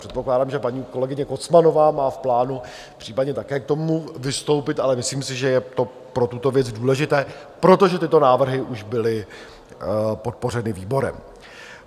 Předpokládám, že paní kolegyně Kocmanová má v plánu případně také k tomu vystoupit, ale myslím si, že je to pro tuto věc důležité, protože tyto návrhy už byly podpořeny výborem.